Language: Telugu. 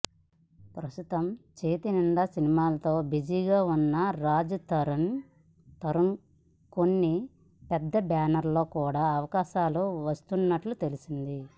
ప్రస్తుతం చేతి నిండా సినిమాలతో బిజీగా వున్న రాజ్ తరుణ్కి కొన్ని పెద్ద బ్యానర్లలో కూడా అవకాశాలు వస్తున్నట్టు తెలిసింది